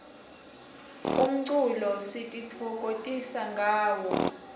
umculo sititfokotisa ngawo